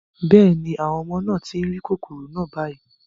Bẹ́ẹ̀ ni, àwọn ọmọ náà tí ń rí kòkòrò náà báyìí